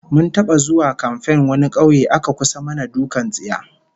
Mun taba zuwa kamfen wani kauye aka kusa mana dukkan tsiya